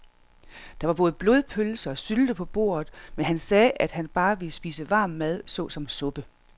Der var både blodpølse og sylte på bordet, men han sagde, at han bare ville spise varm mad såsom suppe.